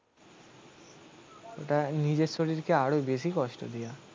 ওটা নিজের শরীরকে আরো বেশি কষ্ট দিয়া